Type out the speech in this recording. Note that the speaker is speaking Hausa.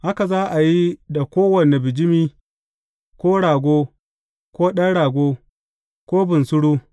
Haka za a yi da kowane bijimi, ko rago, ko ɗan rago, ko bunsuru.